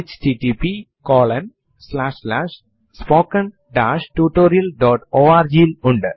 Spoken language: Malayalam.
അതു ശരിയായി എന്റർ ചെയ്തു കഴിഞ്ഞാൽ നിങ്ങളുടെ പുതിയ പാസ്സ്വേർഡ് എന്റർ ചെയ്യുക